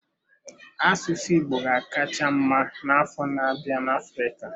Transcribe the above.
Asụsụ Igbo ga-akacha mma n'afọ na-abịa na Africa.